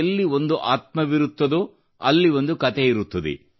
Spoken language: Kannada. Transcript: ಎಲ್ಲಿ ಒಂದು ಆತ್ಮವಿರುತ್ತದೋ ಅಲ್ಲಿ ಒಂದು ಕತೆಯಿರುತ್ತದೆ